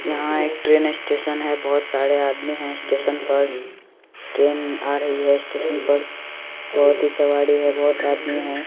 यहां एक train station है बहुत सारे आदमी है स्टेशन पर ट्रेन आ रही है स्टेशन पर बहुत ही सवारी है बहुत आदमी है।